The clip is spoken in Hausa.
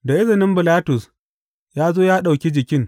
Da izinin Bilatus, ya zo ya ɗauki jikin.